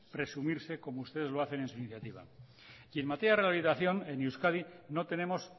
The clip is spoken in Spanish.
presumirse como ustedes lo hacen en su iniciativa y en materia de rehabilitación en euskadi no tenemos